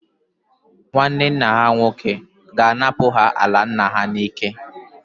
Nwanne nna ha nwoke ga-anapụ ha ala nna ha n'ike.